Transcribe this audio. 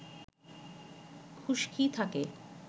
খুশকি থাকে